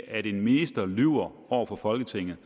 at en minister lyver over for folketinget